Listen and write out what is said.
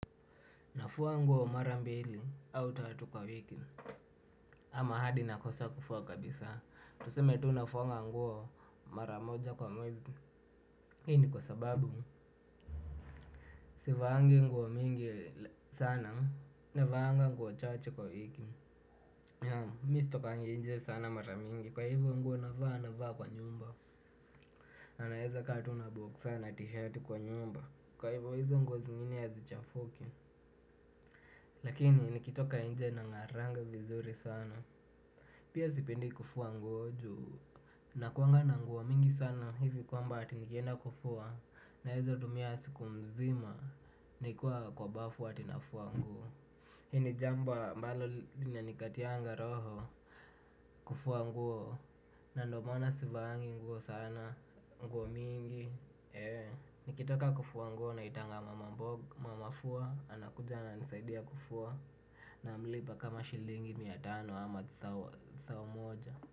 Nafuwa nguwo mara mbili, au tatu kwa wiki. Ama hadi nakosa kufuwa kabisa. Tuseme tu nafuanga nguwo mara moja kwa mwezi. Hii ni kwa sababu. Sivangi nguwo mingi sana. Navanga nguwo chaache kwa wiki. Mi sitokangi nje sana mara mingi. Kwa hivyo nguo navaa navaa kwa nyumba. Na naeza kaa tu na boxer na tishati kwa nyumba. Kwa hivyo hizo nguo zingine hazichafuki. Lakini nikitoka nje nang'aranga vizuri sana. Pia sipendi kufua nguo juu nakuanga na nguo mingi sana hivi kwamba ati nikienda kufua naeza tumia siku mzima nikiwa kwa bafu ati nafua nguo. Hii ni jambo ambalo linanikatianga roho. Kufua nguo. Na ndo maana sivaangi nguo sana. Nguo mingi. Nikitaka kufua nguo naitanga mama fua anakuja ananisaidia kufua. Namlipa kama shilingi miatano ama thao moja.